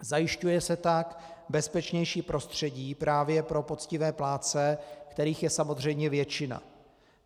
Zajišťuje se tak bezpečnější prostředí právě pro poctivé plátce, kterých je samozřejmě většina.